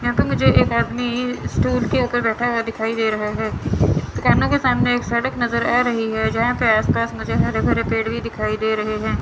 यहां पे मुझे एक आदमी ई स्टूल के ऊपर बैठा हुआ दिखाई दे रहा है दुकानों के सामने एक सड़क नजर आ रही है जहां पे आस पास मुझे हरे भरे पेड़ भी दिखाई दे रहे हैं।